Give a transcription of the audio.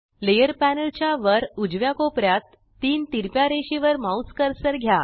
layer panel च्या वर उजव्या कोपऱ्यात तीन तिरप्या रेषेवर माउस कर्सर घ्या